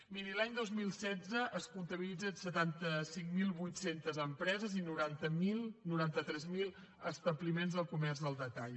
miri l’any dos mil setze es comptabilitzen setanta cinc mil vuit cents empreses i noranta tres mil establiments de comerç al detall